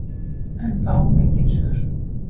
En fáum engin svör.